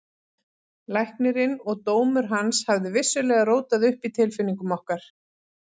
Læknirinn og dómur hans hafði vissulega rótað upp í tilfinningum okkar.